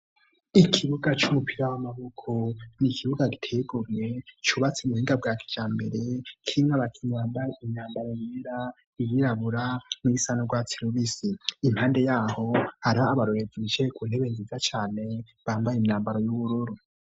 Ikibuga c'umupira w'amaboko, n'ikibuga giteye igomwe cubatse mu buhinga bwa kijambere. Kirimwo abakinyi bambaye imyambaro yera, iyirabura , n'iyisa n'urwatsi rubisi. Impande y'aho hariho abarorerezi bicaye ku nteba nziza cane bambaye imyambaro y'ubururu.